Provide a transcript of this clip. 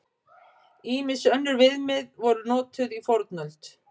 Ýmis önnur viðmið voru notuð í fornöld.